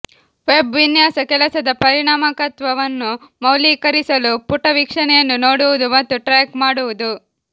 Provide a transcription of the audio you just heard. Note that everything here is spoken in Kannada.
ವೆಬ್ ವಿನ್ಯಾಸ ಕೆಲಸದ ಪರಿಣಾಮಕಾರಿತ್ವವನ್ನು ಮೌಲ್ಯೀಕರಿಸಲು ಪುಟವೀಕ್ಷಣೆಯನ್ನು ನೋಡುವುದು ಮತ್ತು ಟ್ರ್ಯಾಕ್ ಮಾಡುವುದು